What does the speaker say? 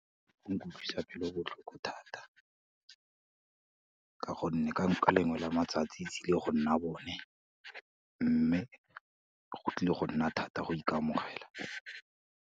Go nkutlwisang pelo botlhoko thata, ka gonne ka lengwe la matsatsi e tsile go nna bone, mme go tlile go nna thata go ikamogela.